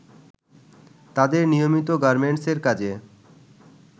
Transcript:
তাদের নিয়মিত গার্মেন্টসের কাজে